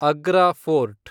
Agra fort